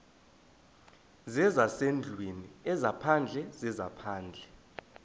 zezasendlwini ezaphandle zezaphandle